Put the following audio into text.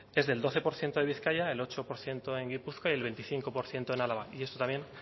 es del doce por ciento de bizkaia el ocho por ciento en gipuzkoa y el veinticinco por ciento en álava y esto también